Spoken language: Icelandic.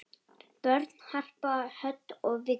Börn: Harpa Hödd og Viggó.